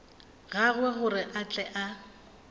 gagwe gore a tle a